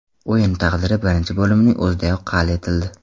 O‘yin taqdiri birinchi bo‘limning o‘zidayoq hal etildi.